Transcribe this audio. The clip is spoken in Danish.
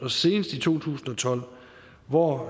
og senest i to tusind og tolv hvor